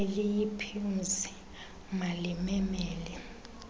eliyi pims malimemele